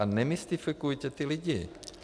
A nemystifikujte ty lidi.